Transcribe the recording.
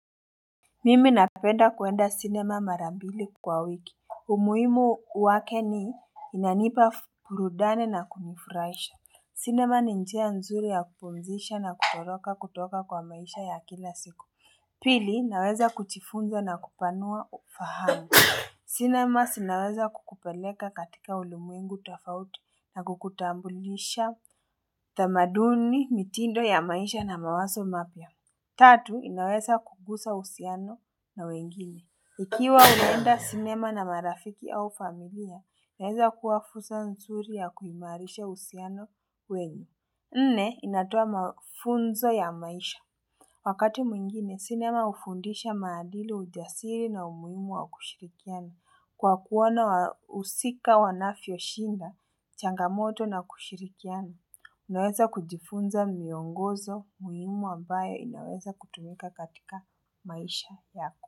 Mimi napenda kuenda cinema mara mbili kwa wiki umuhimu wake ni inanipa burudani na kunifuraisha cinema ni njia nzuri ya kupumzisha na kutoroka kutoka kwa maisha ya kila siku Pili naweza kuchifunza na kupanua ufahamu cinema sinaweza kukupeleka katika ulimwengu tafauti na kukutambulisha tamaduni mitindo ya maisha na mawaso mapya Tatu, inaweza kugusa usiano na wengine. Ikiwa umeenda sinema na marafiki au familia, inaweza kuwa fursa nzuri ya kuimarisha uhusiano wenyu. Nne, inatoa mafunzo ya maisha. Wakati mwingine, sinema hufundisha maadili ujasiri na umuhimu wa kushirikiani. Kwa kuona wahusika wanafioshinda, changamoto na kushirikiani. Unaweza kujifunza miongozo muhimu ambaye inaweza kutumika katika maisha yako.